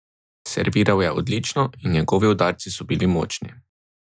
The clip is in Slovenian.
Serviral je odlično in njegovi udarci so bili močni.